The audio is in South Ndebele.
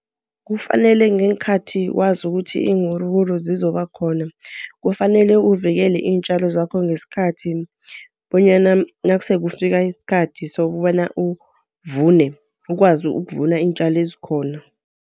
Kufanele ngeenkhathi wazi ukuthi iinwuruwuru zizobakhona. Kufanele uvikele iintjalo zakho ngesikhathi, bonyana nasele kufika isikhathi sokobana uvune, ukwazi ukuvuna iintjalo ezikhona.